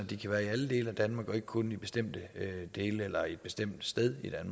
de kan være i alle dele af danmark og ikke kun i bestemte dele eller et bestemt sted det